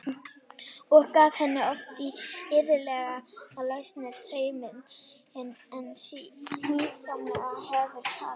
Og gaf henni oft og iðulega lausari tauminn en siðsamlegt hefur talist.